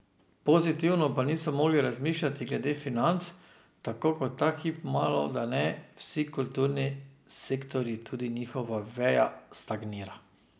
Pozitivno pa niso mogli razmišljati glede financ, tako kot ta hip malodane vsi kulturni sektorji tudi njihova veja stagnira.